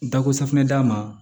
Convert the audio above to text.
Dako safinɛ d'a ma